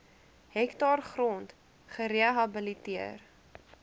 hektaar grond gerehabiliteer